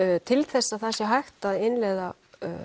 til þess að það sé hægt að innleiða